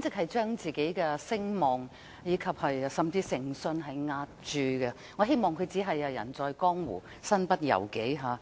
直將他個人的聲望和誠信押注，我希望他只是"人在江湖，身不由己"。